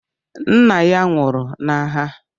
Nna ya nwụrụ n’agha